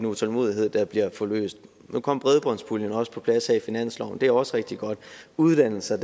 utålmodighed der bliver forløst nu kom bredbåndspuljen også på plads her i finansloven det er også rigtig godt uddannelser